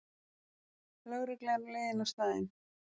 Lögregla er á leiðinni á staðinn